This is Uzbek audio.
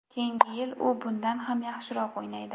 Keyingi yil u bundan ham yaxshiroq o‘ynaydi”.